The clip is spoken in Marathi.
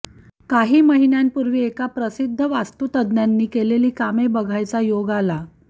काही महिन्यांपूर्वी एका प्रसिद्ध वास्तुतज्ज्ञांनी केलेली कामे बघायचा योग आला